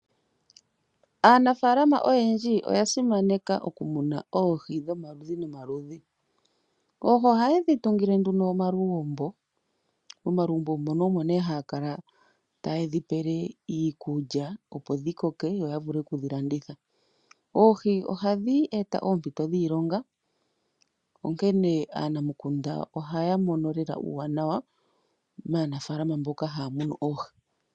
Aanafaalama oyendji oya simaneka oku muna oohi dhomaludhi nomaludhi. Oohi ohaye dhi tungile nduno omalugumbo, omalugumbo ngono ogo nee haya kala yaye dhi pele iikulya opo dhi koke yo ya vule and okudhi landitha. Oohi ohadhi eta oompito dhiilonga, onkene aanamukunda ohaya mono lela ompito ombwaanawa maanafalama mboka haya munu oohi.